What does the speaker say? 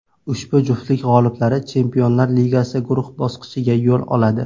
Ushbu juftlik g‘oliblari Chempionlar Ligasi guruh bosqichiga yo‘l oladi.